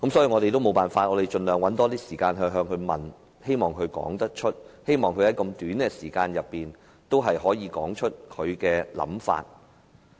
我們也沒辦法，只能盡量向香港大律師公會主席發問，希望他可以在這樣短的時間內說出他的想法。